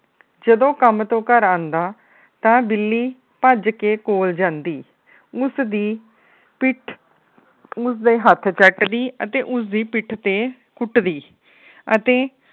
ਜਦੋ ਕੰਮ ਤੋਂ ਘਰ ਆਉਂਦਾ ਤਾ ਬਿੱਲੀ ਭੱਜ ਕੇ ਕੋਲ ਜਾਂਦੀ। ਉਸ ਦੀ ਪਿੱਠ ਉਸ ਦੇ ਹੱਥ ਚੱਟਦੀ ਤੇ ਉਸ ਦੀ ਪਿੱਠ ਤੇ ਕੁੱਟਦੀ ਅਤੇ